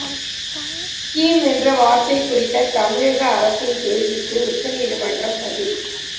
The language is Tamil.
ஸ்கீம் என்ற வார்த்தை குறித்த தமிழக அரசின் கேள்விக்கு உச்சநீதிமன்றம் பதில்